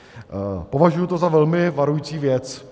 Považuji to za velmi varující věc.